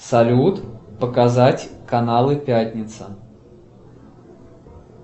салют показать каналы пятница